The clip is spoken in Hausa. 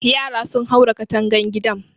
Yara sun haura katangan gidan